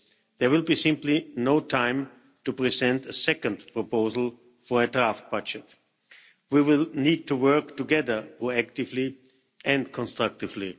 There will be simply no time to present a second proposal for a draft budget. We will need to work together more actively and constructively.